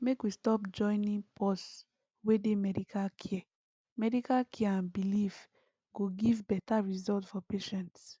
make we stop joinin pause wey dey medical care medical care and belief go give beta result for patients